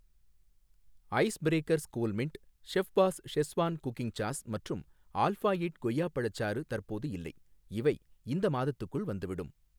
ice Breakers Coolmint, chef's schezwan cooking sauce மற்றும் alpha eight கொய்யா பழச்சாறு தற்போது இல்லை, இவை இந்த மாதத்துக்குள் வந்துவிடும்